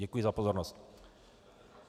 Děkuji za pozornost.